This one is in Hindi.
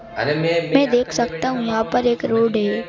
मैं देख सकता हूं यहां पर एक रोड है।